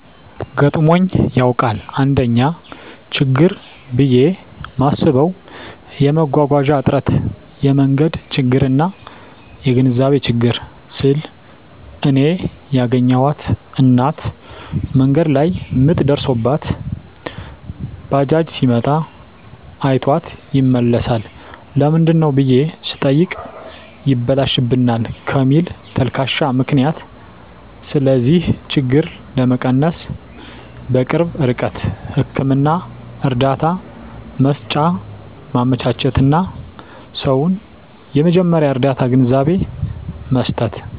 ገጥሞኝ ያዉቃል: 1ኛ :ችግር ብየ ማስበዉ የመጓጓዣ እጥረት የመንገድ ችግርና : (የግንዛቤ ችግር) ስል እኔ ያገኘኋት እናት መንገድ ላይ ምጥ ደርሶባት ባጃጅ ሲመጣ አይቷት ይመለሳል ለምንድነው ብየ ስጠይቅ ይበላሽብናል ከሚል ተልካሻ ምክንያት ስለዚህ ችግር ለመቀነስ_በቅርብ ርቀት ህክምና እርዳታ መሰጫ ማመቻቸትና: ሰዉን የመጀመርያ ርዳታ ግንዛቤ መስጠት።